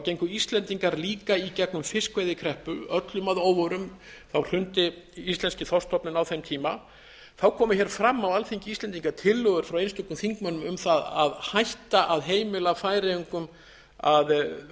gengu íslendingar líka í gegnum fiskveiðikreppu öllum að óvörum hrundi íslenski þorskstofninn á þeim tíma þá komu hér fram á alþingi íslendinga tillögur frá einstökum þingmönnum um það að hætta að heimila færeyingum að